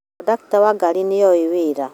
Kondakta wa ngari nĩoĩ wĩra